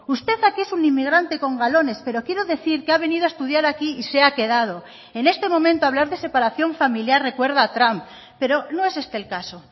usted aquí es un inmigrante con galones pero quiero decir que ha venido a estudiar aquí y se ha quedado en este momento hablar de separación familiar recuerda a trump pero no es este el caso